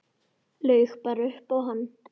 Laug bara upp á hann.